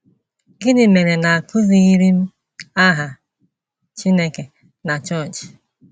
Gịnị mere na a kụzighịrị m aha Chineke na chọọchị? ”